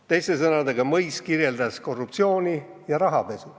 " Teiste sõnadega, Mõis kirjeldas korruptsiooni ja rahapesu.